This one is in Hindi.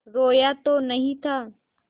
रोया तो नहीं था